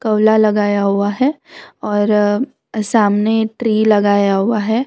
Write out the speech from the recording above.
पौला लगाया हुआ है और अ सामने ट्री लगाया हुआ है।